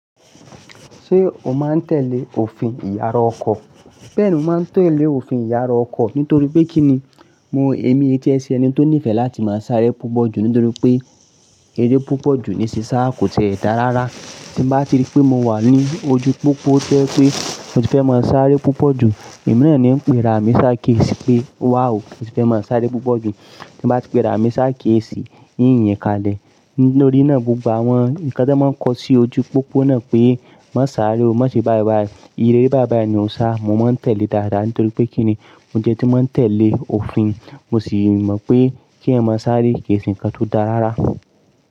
Ṣé o máa ń tẹ̀lé òfin ìyàrá ọkọ̀? Bẹ́ẹ̀ni, mo máa ń tẹ̀lé òfin ìyàrá ọkọ̀ nítorí pé kí ni? Mo èmi jẹ́ ẹsẹ̀ ẹni tó nífẹ̀ẹ́ láti máa sáré púpọ̀ jù nítorí pé eré púpọ̀ jù ní sí sá kò tiẹ ẹ̀dá rara. Tí mo bá ti rí pé mo wà ní ojú pópó to jẹ pé mo ti fẹ́ máa sáré púpọ̀ jù, èmi náà ni ń pe ra mi sá kéè sí i pé wá o, ẹ sì fẹ́ máa sáré púpọ̀ jù. Tí mo bá ti pe ra mi sá kéèkì sì, inyìǹ kalẹ̀. Nítorí náà gbogbo àwọn ǹkan tí wọ́n ń kọ sí ojú pópó náà pé má sáré o, má ṣe báì báì, ìye ere báì báì ni o sá, mo máa ń tẹ̀lé dáadáa. Nítorí pé kí ni? Mo jẹ́ ẹni tí máa ń tẹ̀lé òfin, mo sì mọ̀ pé kí èèyàn má sáré kéè ṣe ǹkan tó dára rárá.